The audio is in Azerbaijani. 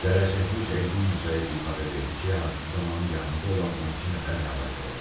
Zərər çəkmiş Elgün Musayev ifadə verdi ki, hadisə zamanı yanında olan 12 nəfər həlak olub.